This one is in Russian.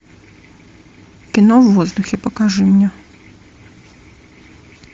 кино в воздухе покажи мне